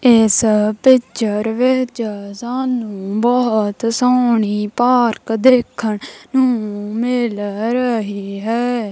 ਇੱਸ ਪਿਕਚਰ ਵਿੱਚ ਸਾਨੂੰ ਬਹੁਤ ਸੋਹਣੀ ਪਾਰਕ ਦੇਖਣ ਨੂੰ ਮਿਲ ਰਹੀ ਹੈ।